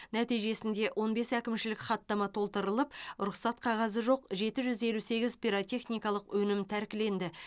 нәтижесінде он бес әкімшілік хаттама толтырылып рұқсат қағазы жоқ жеті жүз елу сегіз пиротехникалық өнім тәркіленді